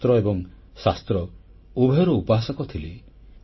ସେ ଶସ୍ତ୍ର ଏବଂ ଶାସ୍ତ୍ର ଉଭୟର ଉପାସକ ଥିଲେ